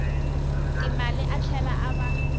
timali a tlhela a va